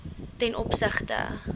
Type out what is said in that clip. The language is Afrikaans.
ten opsigte